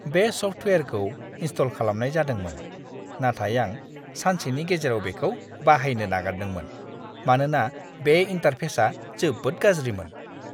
बे सफ्टवेयारखौ इनस्टल खालामनाय जादोंमोन, नाथाय आं सानसेनि गेजेराव बेखौ बाहायनो नागारदोंमोन मानोना बे इन्टारफेसआ जोबोद गाज्रिमोन!